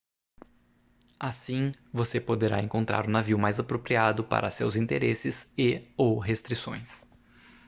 assim você poderá encontrar o navio mais apropriado para seus interesses e/ou restrições